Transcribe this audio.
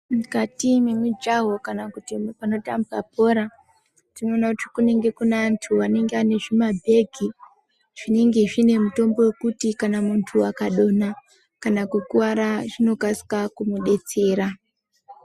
Mukati mwemijaho kana kuti kunotambwa bhora tinoona kuti kunenge kuneantu anenga ane zvimabhegi zvinenge zvine mutombo wekuti kana muntu akadonha kana kukuwara zvinokasika kumudetsera.